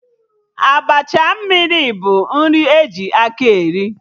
Abacha mmiri bụ nri e ji akị eri